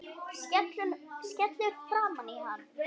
Skellur framan í hann.